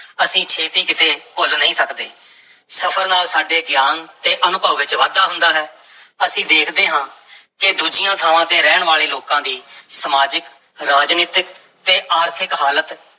ਅਸੀਂ ਛੇਤੀ ਕਿਤੇ ਭੁੱਲ ਨਹੀਂ ਸਕਦੇ, ਸਫ਼ਰ ਨਾਲ ਸਾਡੇ ਗਿਆਨ ਤੇ ਅਨੁਭਵ ਵਿੱਚ ਵਾਧਾ ਹੁੰਦਾ ਹੈ ਅਸੀਂ ਦੇਖਦੇ ਹਾਂ ਕਿ ਦੂਜੀਆਂ ਥਾਵਾਂ ਤੇ ਰਹਿਣ ਵਾਲੇ ਲੋਕਾਂ ਦੀ ਸਮਾਜਿਕ, ਰਾਜਨੀਤਕ ਤੇ ਆਰਥਿਕ ਹਾਲਤ